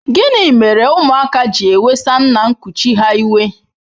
Gịnị mere ụmụaka ji ewesa nna nkuchi ha iwe?